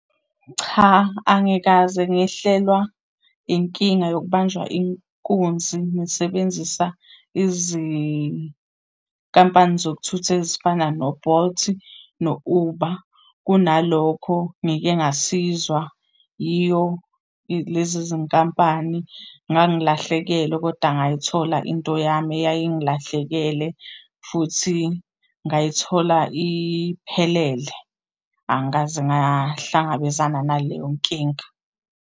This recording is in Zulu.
Cha, angikaze ngehlelwa inkinga yokubanjwa inkunzi ngisebenzisa izinkampani zokuthutha ezifana no-Bolt no-Uber. Kunalokho ngike ngasizwa yiyo lezi zinkampani, ngangilahlekelwe koda ngayithola into yami eyayingilahlekele, futhi ngayithola iphelele. Angikaze ngahlangabezana naleyo nkinga.